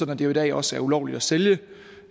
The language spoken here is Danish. at det jo i dag også er ulovligt at sælge